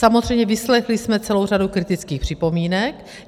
Samozřejmě vyslechli jsme celou řadu kritických připomínek.